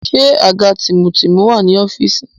Ṣé àga tìmùtìmù wà ní ọ́fíìsì?